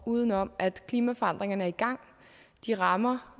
udenom at klimaforandringerne er i gang de rammer